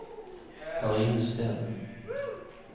Karine Steen